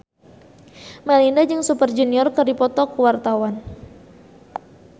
Melinda jeung Super Junior keur dipoto ku wartawan